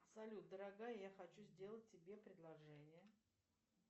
салют дорогая я хочу сделать тебе предложение